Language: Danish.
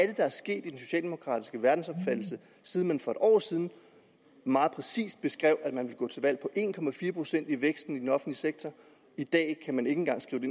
det der er sket i den socialdemokratiske verdensopfattelse siden man for et år siden meget præcist beskrev at man ville gå til valg på en procent i væksten i den offentlige sektor i dag kan man ikke engang skrive